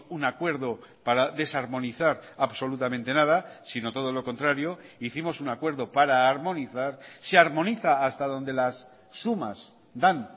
un acuerdo para desarmonizar absolutamente nada sino todo lo contrario hicimos un acuerdo para armonizar se armoniza hasta donde las sumas dan